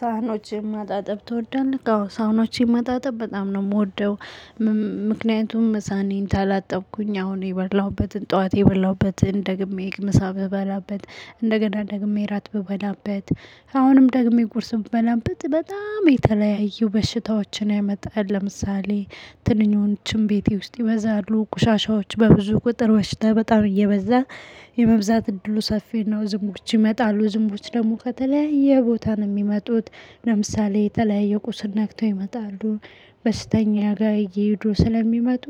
ሳህኖችን ማጣጠብ ትወዳለህ? አዎ ሳህኖችን ማጣጠብ በጣም ነው የምወደው። ምክንያቱም ሳህኔን ካላጠብኩኝ አሁን የበላሁበትን ጠዋት የበላሁበትን ደግሜ ህግ ምሳ ብበላበት እንደገና ደግሜ እራት ብበላበት አሁንም ደግሜ ቁርስ ብበላበት በጣም የተለያዩ በሽታዎችን ያመጣል። ለምሳሌ ትንኞችም ቤቴ ውስጥ ይበዛሉ። ቆሻሻዎች በብዙ ቁጥር በሽታ በጣም እየበዛ የመብዛት እድሉ ሰፊው ዝምቦች ይመጣሉ ዝምቦች ደግሞ ከተለያየ ቦታ ነው የሚመጡት። ለምሳሌ የተለያየ ቁስል ነክቶ ይመጣሉ በሽተኛ ጋር እየሄዱ ስለሚመጡ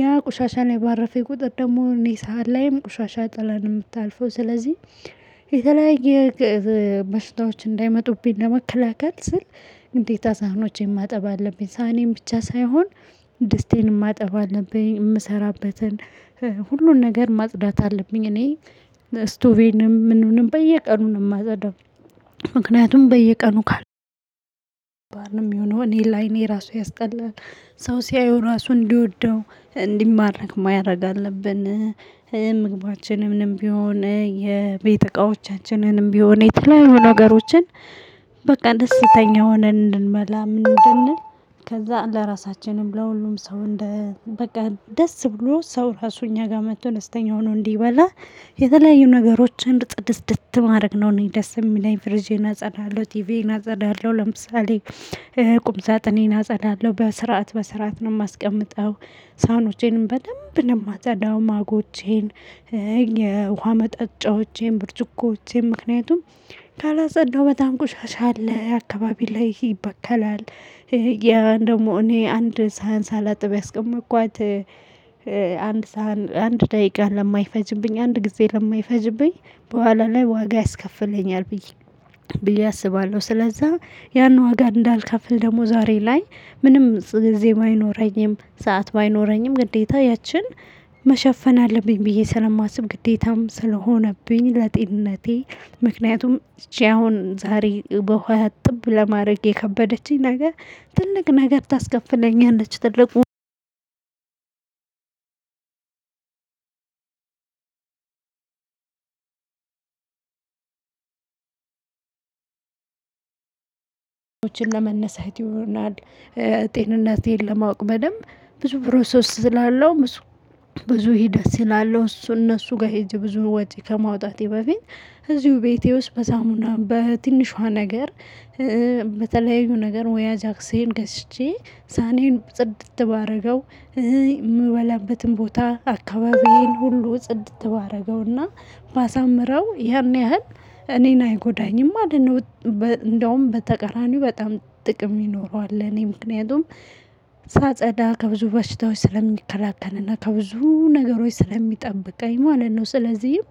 ያ ቁሻሻ ላይ ባረፈ ቁጥር ደግሞ እኔ ሳህን ላይም ቆሻሻ ጥላ ነው የምታልፈው። ስለዚህ የተለያየ በሽታዎች እንዳይመጡብኝ ለመከላከል ስል ግዴታ ሳህኖቼን ማጠብ አለብኝ። ሳኔን ብቻ ሳይሆን ድስቴንም ማጠብ አለብኝ። የምሰራበትን ሁሉን ነገር ማጽዳት አለብኝ። እኔ ስቶቬንም ምኑንም በየቀኑ ነው የማጸዳው። ምክንያቱም በየቀኑ የሚሆነው እኔ ለአይኔ ራሱ ያስጠላል። ሰው ሲያየው ራሱ እንዲወደው እንዲማረክ ማደርግ አለብን። ምግባችንንም ቢሆን የቤት እቃዎቻችንንም ቢሆን የተለያዩ ነገሮችን በቃ ደስተኛ ሆነን እንድንበላ ምን እድል ከዛ ለራሳችንም ለሁሉም ሰው እንደ በቃ ደስ ብሎ ሰው ራሱ እኛ ጋር መጥቶ ደስተኛ ሆኖ እንዲበላ። የተለያዩ ነገሮችን ፅድትድት ማድረግ ነው እኔ ደስ የሚለኝ። ፍሪጄዬን አጸዳለሁ ቲቪዬን እናጸዳለሁ ለምሳሌ ቁምጻጥኔን አጸዳለሁ በስርዓት በስርዓት ነው የማስቀምጠው። ሳህኖቼንም በደንብ ለማታ ዳውማጎቼን የውሃ መጠጫዎቼን ብርጭቆቼን ምክንያቱም ካላጸዳሁ በጣም ቆሻሻ አለ አካባቢ ላይ ይበከላል። ያ ደግሞ እኔ አንድ ሳህን ሳላጥብ ያስቀመጥኳት አንድ ሳህን አንድ ደቂቃ ለማይፈጅብኝ አንድ ጊዜ ለማይፈጅብኝ በኋላ ላይ ዋጋ ያስከፍለኛል። ብዬ ብዬ አስባለሁ። ስለዛ ያን ዋጋ እንዳልከፍል ደግሞ ዛሬ ላይ ምንም ጊዜ ባይኖረኝም ሰዓት ባይኖረኝም ግዴታ ያችን መሸፈን አለብኝ። ብዬ ስለማስብ ግዴታም ስለሆነብኝ ለጤንነቴ ምክንያቱም እቺ አሁን ዛሬ በውሃ ጥብ ለማድረግ የከበደችኝ ነገር ትልቅ ነገር ታስከፍለኛለች። የሆነች ትልቁ ለመነሳት ይሆናል። ጤንነቴ ለማወቅ በደንብ ብዙ ፕሮሰስ ስላለው ብዙ ሂደት ስላለው እሱ እነሱ ጋር ሂጅ ብዙ ወጪ ከማውጣቴ በፊት እዚሁ ቤቴ ውስጥ በሳሙና በትንሿ ነገር በተለያዩ ነገር ወይ አጃክሴን ገዝቼ ሳህኔን ጽድት ባደረገው። የምበላበትም ቦታ አካባቢዬን ሁሉ ጽድት ባረገውና ባሳምረው ያን ያህል እኔን አይጎዳኝም ማለት ነው። እንደውም በተቀራኒው በጣም ጥቅም ይኖረዋል እኔ ምክንያቱም ሳጸዳ ከብዙ በሽታዎች ስለሚከላከልና ከብዙ ነገሮች ስለሚጠምብቃኝ ማለት ነው። ስለዚህም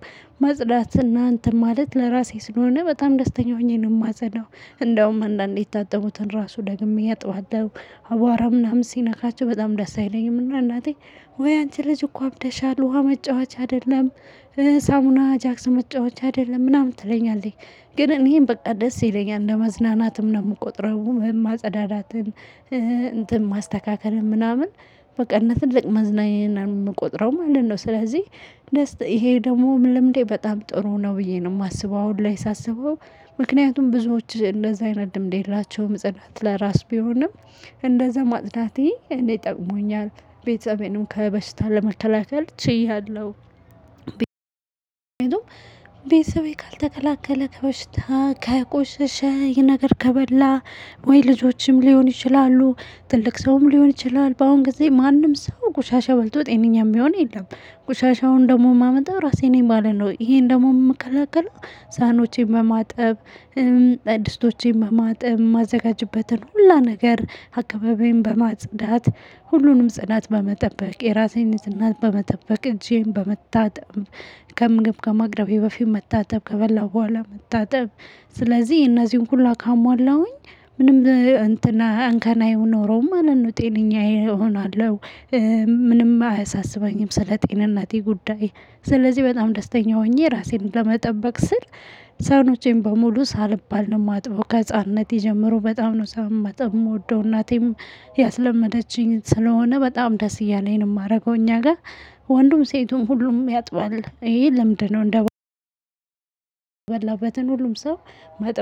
መጽዳትና እንትን ማለት ለራሴ ስለሆነ በጣም ደስተኛ ሆኜ ነው የማዘደው። እንደውም አንዳንዴ የታጠቡትን ራሱ ደግሜ አጥባታለሁ። አቧራ ምናምን ሲነካቸው በጣም ደስ አይለኝም እና እናቴ ወይ አንቺ ልጅ እኮ አብደሻል ውሃ መጫወቻ አይደለም። ሳሙና አጃክስ መጫወቻ አይደለም ምናምን ትለኛለች። ግን እኔን በቃ ደስ ይለኛል ለመዝናናትም ነው የምቆጥረው ማጸዳዳትን እንትን ማስተካከልን ምናምን በቃ እንደ ትልቅ መዝናኛ ነው የምቆጥረው ማለት ነው። ስለዚህ ይሄ ደግሞ ልምዴ በጣም ጥሩ ነው ብዬ ነው የማስበው። አሁን ላይ ሳስበው ምክንያቱም ብዙዎች እንደዛ አይረዱም የቤታቸው ጽዳት ለራስ ቢሆንም እንደዛ ማጽዳቴ እኔ ጠቅሞኛል። ቤቴንም ከበሽታ ለመከላከ ል ችያለሁ። ቤተሰቤ ካልተከላከለ ከበሽታ ከቆሸሸ ይሄ ነገር ከበላ ወይ ልጆችም ሊሆን ይችላሉ ትልቅ ሰውም ሊሆን ይችላል በአሁን ጊዜ ማንም ሰው ጎሻሻ በልቶ ጤነኛም የሚሆን የለም። ጎሻሻውን ደግሞ የማመጣው ራሴን የማለው ይሄን ደግሞ የምከላከለው ሳህኖቼን በማጠብ። ድስቶቼን በማጥብ ማዘጋጅበትን ሁላ ነገር አካባቢን በማጽዳት ሁሉንም ጽዳት በመጠበቅ የራሴን እናት በመጠበቅ እጄን በመታጠብ ከምግብ ከማቅረቤ በፊት መታጠብ ከበላሁ በኋላ መታጠብ። ስለዚህ የእነዚህን ሁላ ካሟላሁኝ ምንም እንትን አይኖረውም ማለት ነው ጤነኛ እሆናለሁ። ምንም አያሳስበኝም ስለ ጤንነቴ ጉዳይ። ስለዚህ በጣም ደስተኛ ሆኜ ራሴን ለመጠበቅ ስል ሳህኖቼን በሙሉ ሳልባል ነው የማጥበው። ከህፃንነት ጀምሮ በጣም ነው ሳህን ማጠብ የምወደው እናቴም ያስለመደችኝ ስለሆነ በጣም ደስ እያለኝ ነው የማደርገው። እኛ ጋር ወንዱም ሴቱም ሁሉም ያጥባል ይሄ ልምድ ነው። የበላበትን ሁሉም ሰው ማጠበቅ